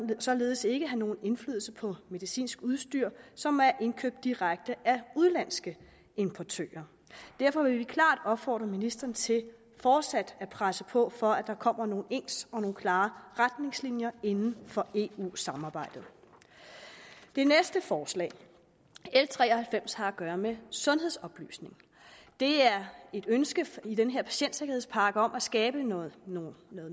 vil således ikke have nogen indflydelse på medicinsk udstyr som er indkøbt direkte af udenlandske importører derfor vil vi klart opfordre ministeren til fortsat at presse på for at der kommer nogle ens og klare retningslinjer inden for eu samarbejdet det næste forslag l tre og halvfems har at gøre med sundhedsoplysning der er et ønske i denne patientsikkerhedspakke om at skabe noget noget